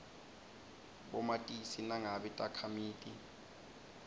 bomatisi nangabe takhamiti